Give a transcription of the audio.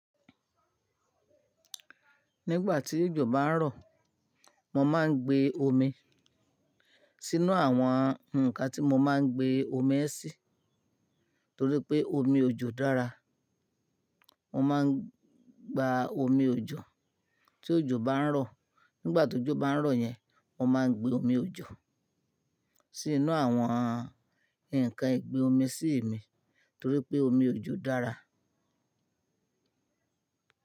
Nígbà tí òjò bá ń rọ̀, mo máa ń gbé omi sínú àwọn ǹkan tí mo máa ń gbé omi ẹ́ sí torí pé omi òjò dára. Mo máa ń gba omi òjò tí òjò bá ń rọ̀. Nígbà tó jọ bá ń rọ̀ yẹn, mo máa gbé omi òjò sínú àwọn ǹkan ìgbé omi sí mi torí pé omi òjò dára.